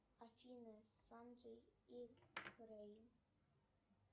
афина санджей и крейг